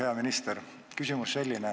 Hea minister!